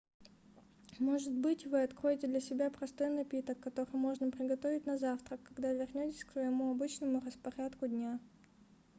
может быть вы откроете для себя простой напиток который можно приготовить на завтрак когда вернётесь к своему обычному распорядку дня